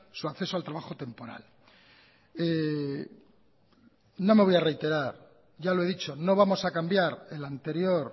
su acceso al trabajo temporal no me voy a reiterar ya lo he dicho no vamos a cambiar el anterior